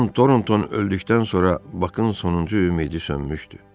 Con Tornton öldükdən sonra Bakın sonuncu ümidi sönmüşdü.